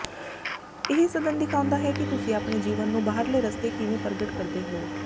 ਇਹ ਸਦਨ ਦਿਖਾਉਂਦਾ ਹੈ ਕਿ ਤੁਸੀਂ ਆਪਣੇ ਜੀਵਨ ਨੂੰ ਬਾਹਰਲੇ ਰਸਤੇ ਕਿਵੇਂ ਪ੍ਰਗਟ ਕਰਦੇ ਹੋ